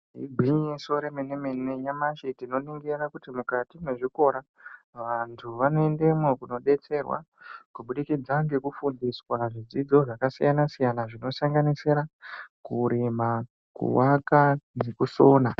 Igwinyiso Remene mene tinoringira kuti mukati mwezvikora vantu vanoendemwo kundodetserwa kubudikidza ngekufundiswa zvidzidzo zvakasiyana siyana zvinosanganisira kurima kuaka nekusona.